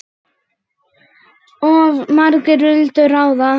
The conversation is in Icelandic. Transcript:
Of margir vildu ráða.